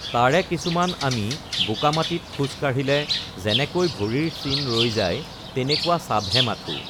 তাৰে কিছুমান আমি বোকামাটিত খোজ কাঢ়িলে যেনেকৈ ভৰিৰ চিন ৰৈ যায় তেনেকুৱা চাপহে মাথো৷